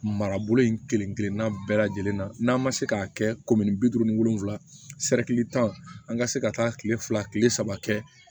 Marabolo in kelen kelenna bɛɛ lajɛlen na n'a ma se k'a kɛ bi duuru ni wolonfila tan an ka se ka taa kile fila kile saba kɛ